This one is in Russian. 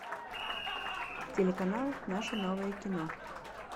телеканал наше новое кино